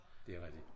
Det rigtigt